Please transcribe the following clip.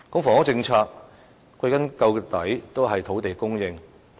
房屋政策歸根究底是土地供應的問題。